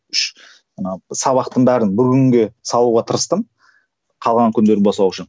үш ана сабақтың бәрін бір күнге салуға тырыстым қалған күндері босау үшін